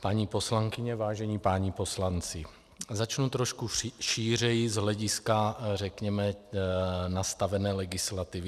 paní poslankyně, vážení páni poslanci, začnu trošku šířeji z hlediska řekněme nastavené legislativy.